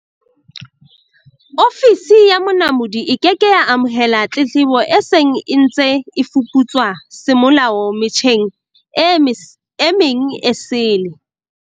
Ofisi ya Monamodi e ke ke ya amohela tletlebo e seng e ntse e fuputswa semolao me tjheng e meng esele.